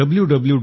www